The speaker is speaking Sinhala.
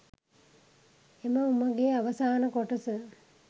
එම උමගේ අවසාන කොටස